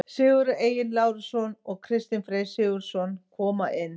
Sigurður Egill Lárusson og Kristinn Freyr Sigurðsson koma inn.